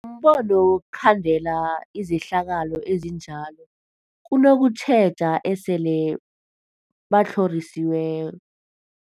kombono wokhandela izehlakalo ezinjalo kunokutjheja esele batlhorisiwe.